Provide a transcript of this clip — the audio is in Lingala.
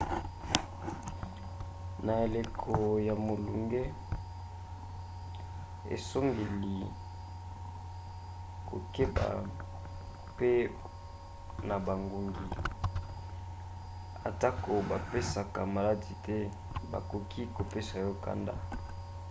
na eleko ya molunge osengeli kokeba mpe na bangungi. atako bapesaka maladi te bakoki kopesa yo nkanda